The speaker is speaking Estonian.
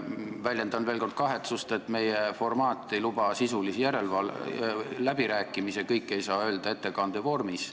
Väljendan veel kord kahetsust, et meie formaat ei luba sisulisi läbirääkimisi, kõike ei saa öelda ettekande vormis.